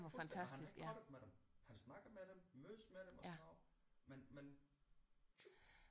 Fuldstændig og han er ikke partet med dem han snakker med dem mødes med dem og sådan noget men men